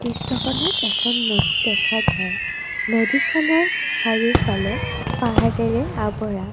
দৃশ্যখনত এখন নদী দেখা যায় নদীখনৰ চাৰিওফালে পাহাৰেৰে আৱৰা।